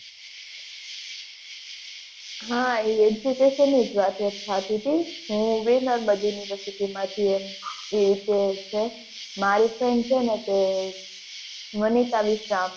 હ education ની જ વાત સાચી હતી હું ગીરનાર બાજુ ની એવું કે છે મારી friend છે ને તે મનીષા બી શ્યામ